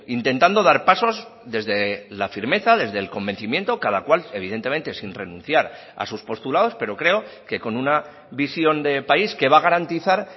intentando dar pasos desde la firmeza desde el convencimiento cada cual evidentemente sin renunciar a sus postulados pero creo que con una visión de país que va a garantizar